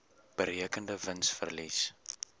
berekende wins verlies